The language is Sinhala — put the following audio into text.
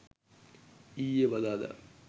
ඊයේ බදාදා